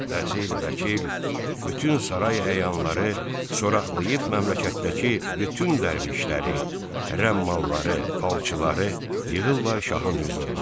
Vəzir, vəkil, bütün saray əyanları soraqlayıb məmləkətdəki bütün dərvişləri, rəmmalları, falçıları yığırlar şahın hüzuruna.